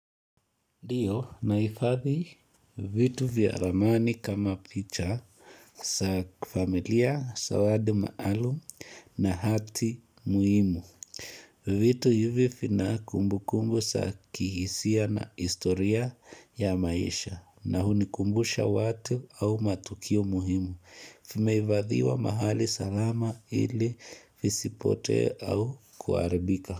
Leo nahifadhi vitu vya ramani kama picha za familia, zawadi maalum na hati muhimu. Vitu hivi vina kumbu kumbu za kihisia na historia ya maisha na hunikumbusha watu au matukio muhimu. Vimeifadhiwa mahali salama ili isipote au kuharibika.